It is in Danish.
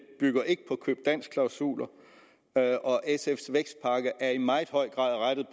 bygger ikke på køb dansk klausuler og sfs vækstpakke er i meget høj grad rettet